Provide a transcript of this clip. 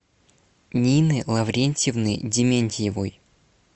нины лаврентьевны дементьевой